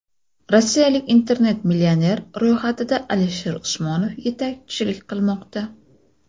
Rossiyalik internet-millionerlar ro‘yxatida Alisher Usmonov yetakchilik qilmoqda.